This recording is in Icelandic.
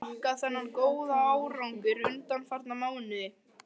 Hverju viltu þakka þennan góða árangur undanfarna mánuði?